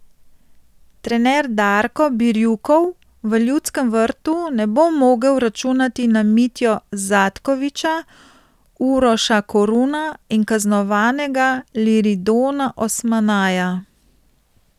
Trener Darko Birjukov v Ljudskem vrtu ne bo mogel računati na Mitjo Zatkoviča, Uroša Koruna in kaznovanega Liridona Osmanaja.